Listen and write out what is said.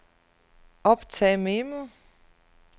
optag memo